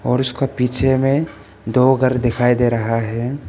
और उसका पीछे में दो घर दिखाई दे रहा है।